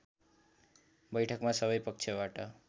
बैठकमा सबै पक्षबाट